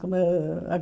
Como é ãh